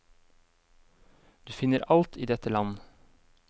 Du finner alt i dette land.